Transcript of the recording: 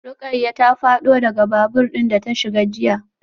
Rukayyah ta fado daga babur din da ta shiga jiya.